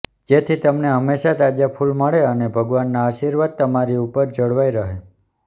જેથી તમને હંમેશા તાજા ફૂલ મળે અને ભગવાનના આશીર્વાદ તમારી ઉપર જળવાઈ રહે